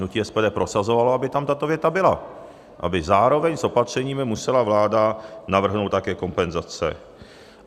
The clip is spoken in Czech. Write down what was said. Hnutí SPD prosazovalo, aby tam tato věta byla, aby zároveň s opatřeními musela vláda navrhnout také kompenzace.